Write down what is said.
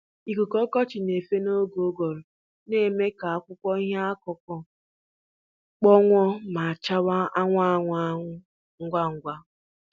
Ikuku ọkọchị na-efe n'oge ụguru na-eme ka akwụkwọ ihe akụkụ kpọnwụọ ma chawa anwụ anwụ anwụ ngwa ngwa.